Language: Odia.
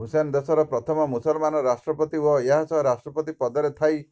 ହୁସେନ ଦେଶର ପ୍ରଥମ ମୁସଲମାନ ରାଷ୍ଟ୍ରପତି ଓ ଏହାସହ ରାଷ୍ଟ୍ରପତିି ପଦରେ ଥାଇ